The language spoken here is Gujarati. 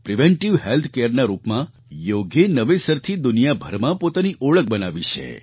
પ્રિવેન્ટિવ હેલ્થ careના રૂપમાં યોગે નવેસરથી દુનિયાભરમાં પોતાની ઓળખ બનાવી છે